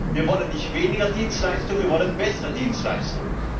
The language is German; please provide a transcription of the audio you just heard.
Wir wollen nicht weniger Dienstleistung, wir wollen bessere Dienstleistung!